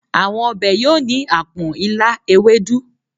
Àwọn ọbẹ̀ yọ̀ ni àpọ̀n, ilá, ewédú.